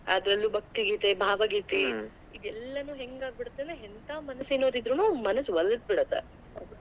ಅದರಲ್ಲೂ ಭಕ್ತಿ ಗೀತೆ, ಭಾವ ಗೀತೆ ಇವೆಲ್ಲನೂ ಹೆಂಗ್ ಆಗಿಬಿಡುತ್ತೆ ಅಂದ್ರೆ ಎಂತಾ ಮನಸ್ಸಿರೋರ್ ಇದ್ರುನೂ ಮನಸ್ ಒಲಡ್ಬಿಡುತ್ತೆ.